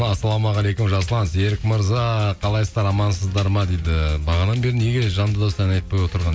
ассалаумағалейкум жасұлан серік мырза қалайсыздар амансыздар ма дейді бағанадан бері неге жанды дауыста ән айтпай отырған